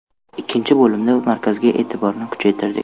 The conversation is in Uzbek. Ikkinchi bo‘limda markazga e’tiborni kuchaytirdik.